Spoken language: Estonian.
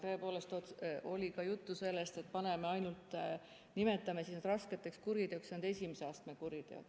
Tõepoolest oli juttu ka sellest, et nimetame raskeks kuriteoks ainult esimese astme kuriteod.